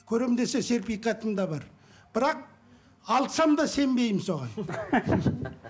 көрем десе сертификатым да бар бірақ алсам да сенбеймін соған